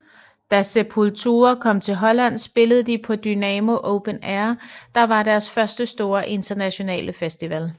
Da Sepultura kom til Holland spillede de på Dynamo Open Air der var deres første store internationale festival